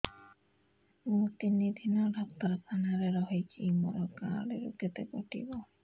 ମୁଁ ତିନି ଦିନ ଡାକ୍ତର ଖାନାରେ ରହିଛି ମୋର କାର୍ଡ ରୁ କେତେ କଟିବ